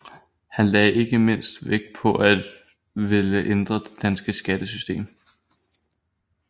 Han lagde ikke mindst vægt på at ville ændre det danske skattesystem